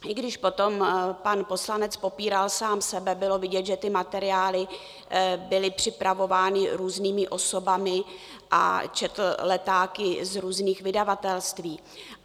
I když potom pan poslanec popíral sám sebe, bylo vidět, že ty materiály byly připravovány různými osobami a četl letáky z různých vydavatelství.